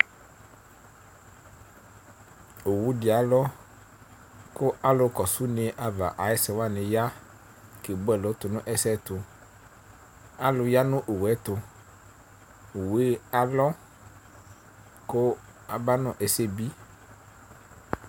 owudɩ alɔ ku alʊ kɔsu une ava ayu ɛsɛwanɩ ya kebuɛlu tʊ nu ɛsɛyɛtʊ, alʊ ya nu owu yɛtu, owu yɛ alɔ ku aba nʊ ɛsɛbɩ,